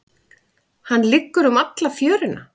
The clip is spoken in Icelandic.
Hann liggur um alla fjöruna.